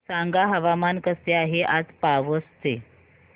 सांगा हवामान कसे आहे आज पावस चे